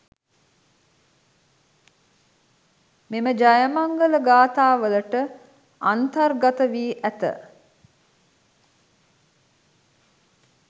මෙම ජයමංගල ගාථාවලට අන්තර්ගත වී ඇත.